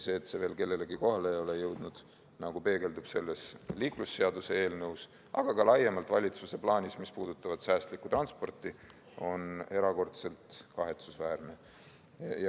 See, et see veel kellelegi kohale ei ole jõudnud – nagu peegeldub selles liiklusseaduse eelnõus, aga ka laiemalt valitsuse plaanis, mis puudutab säästlikku transporti –, on erakordselt kahetsusväärne.